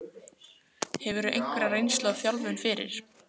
Hefurðu einhverja reynslu af þjálfun fyrir?